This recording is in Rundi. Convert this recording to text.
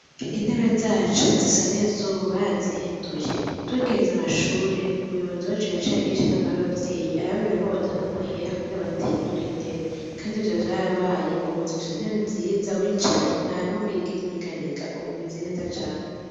Intebe zacu zisa neza ubu barazihinduye, tugiheza amashure umuyobozi yaciye agirisha inama y'abavyeyi arababwira ko botanga amahera kugira bahindure intebe kandi ivyo vyarabaye ubu dufise intebe nziza wicaye ntanubwo yigera inyeganyega, ubu zimeze neza cane.